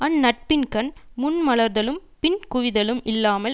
அந்நட்பின்கண் முன் மலர்தலும் பின் குவிதலும் இல்லாமல்